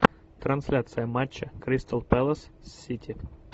трансляция матча кристал пэлас с сити